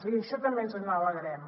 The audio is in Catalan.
i d’això també ens n’alegrem